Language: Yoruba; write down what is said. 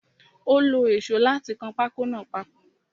Ó lo èsó láti kan pákó náà papọ̀.